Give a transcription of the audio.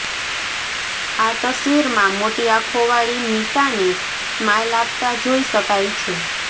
આ તસવીરમાં મોટી આંખોવાળી મીશાને સ્માઇલ આપતા જોઇ શકાય છે